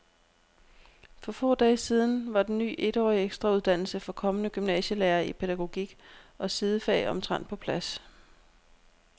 For få dage siden var den ny etårige ekstrauddannelse for kommende gymnasielærere i pædagogik og sidefag omtrent på plads.